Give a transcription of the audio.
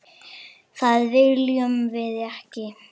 Það viljum við ekki.